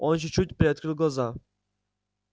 он чуть-чуть приоткрыл глаза